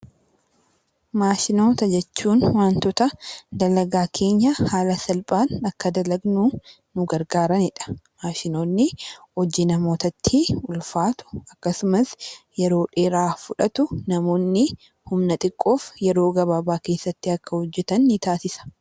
Maashinoota jechuun wantoota dalagaa keenya haala salphaan akka dalagnu nu gargaarani dha. Maashinoonni hojii namoota tti ulfaatu akkasumas yeroo dheeraa fudhatu namoonni humna xiqqoof yeroo gabaabaa keessatti akka hojjetan ni taasisa.